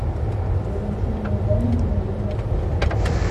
валентины ивановны ермаковой